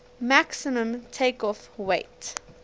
maximum takeoff weight